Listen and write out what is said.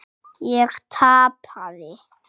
Ég tapaði.